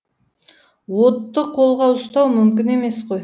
отты қолға ұстау мүмкін емес қой